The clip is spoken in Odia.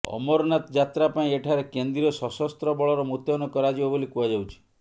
ଅମରନାଥ ଯାତ୍ରା ପାଇଁ ଏଠାରେ କେନ୍ଦ୍ରୀୟ ସଶସ୍ତ୍ର ବଳର ମୁତୟନ କରାଯିବ ବୋଲି କୁହାଯାଉଛି